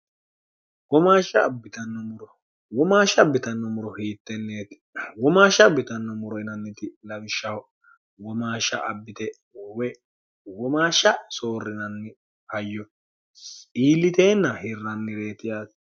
womaasha abbitanno muro hiitteneetikka womaasha abbitanno muro lawishshaho:womaasha abbite woyi soorrite iilliteenna hirranireeti.